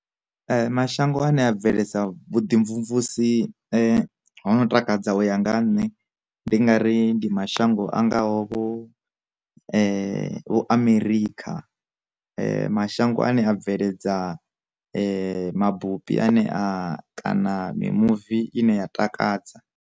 Mashango ane a bveledzisa vhu ḓimvumvusi ho no takadzaho ya nga ha nṋe ndi nga ri ndi ma shango angaho vho Amerikha, mashango ane a bveledza mabupi ane a kana mimuvi ine ya takadza.